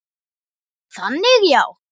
Þannig já.